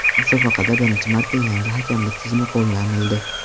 Musobaqada birinchi marta yangi hakamlik tizimi qo‘llanildi.